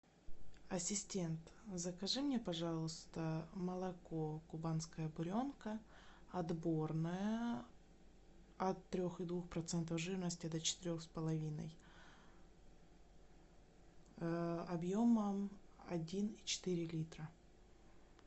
ассистент закажи мне пожалуйста молоко кубанская буренка отборное от трех и двух процентов жирности до четырех с половиной объемом один и четыре литра